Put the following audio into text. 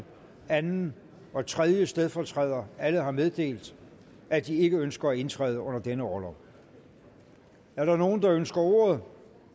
anden og tredje stedfortræder alle har meddelt at de ikke ønsker at indtræde under denne orlov er der nogen der ønsker ordet